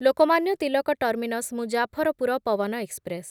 Lokmanya Tilak terminus Muzaffarpur Pawan express